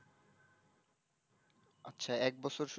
আচ্ছা এক বছর শুধু